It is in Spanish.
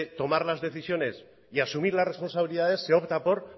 tomar las decisiones y asumir las responsabilidades se opta por